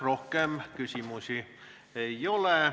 Rohkem küsimusi ei ole.